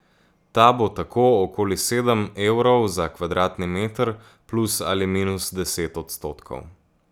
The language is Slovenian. Ta bo tako okoli sedem evrov za kvadratni meter, plus ali minus deset odstotkov.